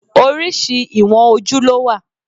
Oríṣi ìwọ̀n ojú ló wà.